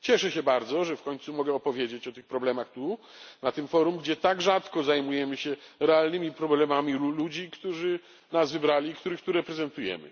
Cieszę się bardzo, że w końcu mogę opowiedzieć o tych problemach tu, na tym forum, gdzie tak rzadko zajmujemy się realnymi problemami ludzi, którzy nas wybrali, których tutaj reprezentujemy.